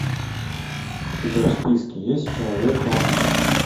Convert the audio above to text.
у тебя в списке есть человек у окна